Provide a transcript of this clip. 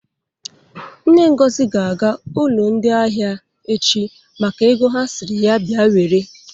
Nne Ngozi ga-aga ụlọ ndị ahịa echi maka ego ha sịrị ya bịa were.